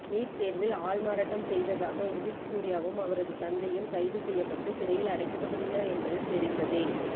NEET தேர்வில் ஆள்மாறாட்டம் செய்ததாக உதித் சூர்யாவும் அவரது தந்தையும் கைது செய்யப்பட்டு சிறையில் அடைக்கப்பட்டுள்ளனர் என்பது தெரிந்ததே